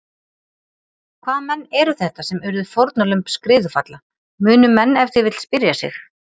Hvaða menn eru þetta sem urðu fórnarlömb skriðufalla, munu menn ef til vill spyrja sig.